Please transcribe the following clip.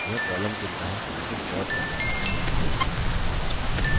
यह column चुनता है जिसे sort करना है